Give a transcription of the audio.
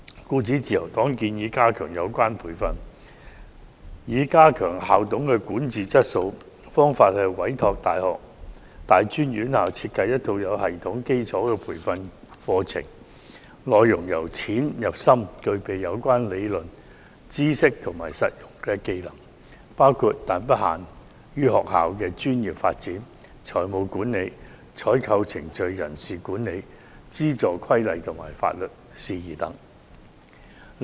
因此，自由黨建議加強有關培訓，以提高校董的管治質素，並委託大專院校設計有系統的基礎培訓課程，內容由淺入深，涵蓋相關理論、知識及實用技能，包括但不限於學校的專業發展、財務管理、採購程序、人事管理、資助規例及法律事宜等。